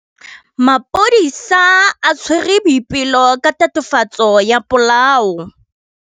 Maphodisa a tshwere Boipelo ka tatofatsô ya polaô.